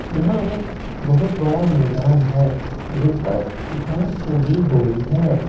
यहां एक बहुत बड़ा मैदान है जिन पर घास उगी हुई हैं।